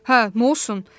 Hə, nə olsun?